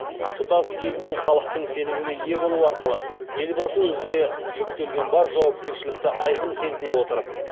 тұтас ел мен халықтың сеніміне ие болу арқылы елбасы өзіне жүктелген бар жауапкершілікті айқын сезіне отырып